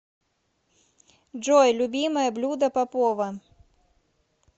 джой любимое блюдо попова